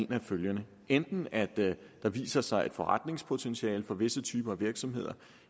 af følgende enten at der viser sig et forretningspotentiale for visse typer af virksomheder